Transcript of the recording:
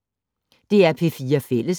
DR P4 Fælles